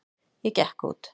Ég gekk út.